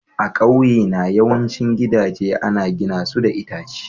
A ƙauyena yawancin gidaje ana gina su da itace.